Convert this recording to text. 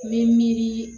N bɛ miiri